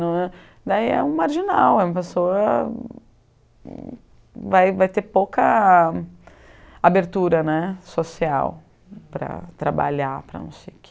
ãh. Daí é um marginal, é uma pessoa... Vai vai ter pouca abertura né social para trabalhar, para não ser oque...